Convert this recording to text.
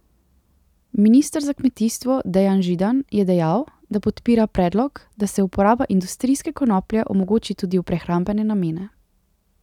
Minister za kmetijstvo Dejan Židan je dejal, da podpira predlog, da se uporaba industrijske konoplje omogoči tudi v prehrambene namene.